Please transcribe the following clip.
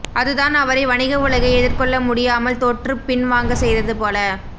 அது தான் அவரை வணிக உலகை எதிர்கொள்ளமுடியாமல் தோற்றுப்பின்வாங்கச் செய்தது போல